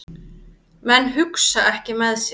Menn hugsa ekki með sér